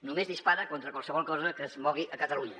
només dispara contra qualsevol cosa que es mogui a catalunya